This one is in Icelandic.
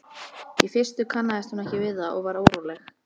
Í fyrstu kannaðist hún ekki við það og varð óróleg.